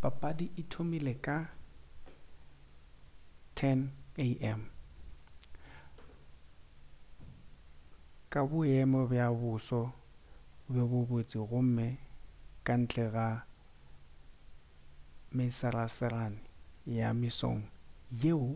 papadi e thomile ka 10:00am ka boemo bja boso bjo bo botse gomme ka ntle ga mesarasarane ya mesong yeo